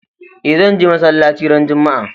E, zan je masalaci ran Juma'a.